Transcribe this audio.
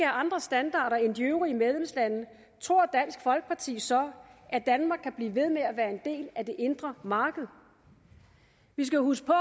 andre standarder end de øvrige medlemslande tror dansk folkeparti så at danmark kan blive ved med at være en del af det indre marked vi skal huske på